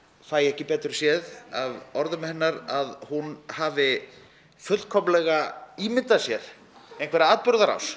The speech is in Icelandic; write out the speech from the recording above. fæ ekki betur séð af orðum hennar að hún hafi fullkomlega ímyndað sér einhverja atburðarás